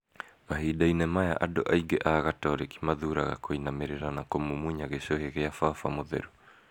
Mahinda-inĩ maya, andũ aingĩ a gatoreki mathuuraga kũinamĩrĩra na kũmumunya gĩcuhĩ gia baba mũtheru.